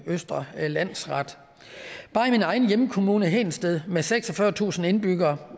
østre landsret bare i min egen hjemkommune hedensted med seksogfyrretusind indbyggere